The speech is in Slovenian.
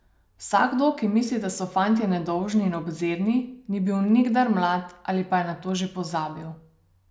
Vsakdo, ki misli, da so fantje nedolžni in obzirni, ni bil nikdar mlad ali pa je na to že pozabil.